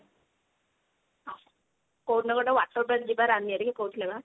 କଉଦିନ ଗୋଟେ water park ଯିବା ରାନୀ ଆରିକେ କହୁଥିଲେ ବା।